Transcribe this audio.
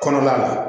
Kɔnɔna la